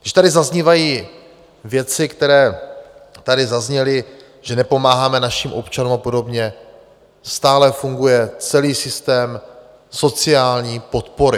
Když tady zaznívají věci, které tady zazněly, že nepomáháme našim občanům a podobně - stále funguje celý systém sociální podpory.